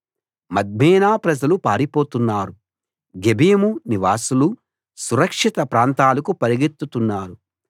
మద్మేనా ప్రజలు పారిపోతున్నారు గెబీము నివాసులు సురక్షిత ప్రాంతాలకు పరుగెత్తుతున్నారు